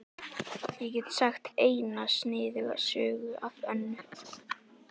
Ég get sagt eina sniðuga sögu af Önnu.